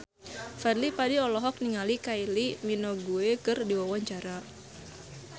Fadly Padi olohok ningali Kylie Minogue keur diwawancara